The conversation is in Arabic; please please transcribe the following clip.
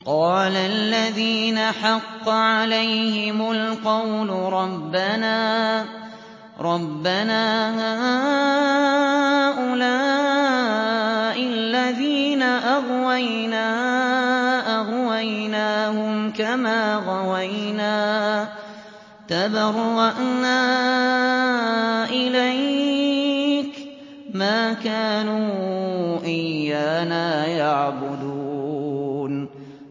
قَالَ الَّذِينَ حَقَّ عَلَيْهِمُ الْقَوْلُ رَبَّنَا هَٰؤُلَاءِ الَّذِينَ أَغْوَيْنَا أَغْوَيْنَاهُمْ كَمَا غَوَيْنَا ۖ تَبَرَّأْنَا إِلَيْكَ ۖ مَا كَانُوا إِيَّانَا يَعْبُدُونَ